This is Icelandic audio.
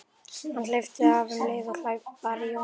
Hann hleypti af um leið og hlaupið bar í Jóhann.